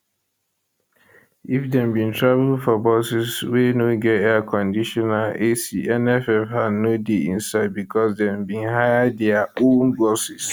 if dem bin travel for buses wey no get airconditioner ac nff hand no dey inside becos dem bin hire dia own buses